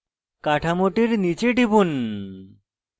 কাঠামোটির নীচে টিপুন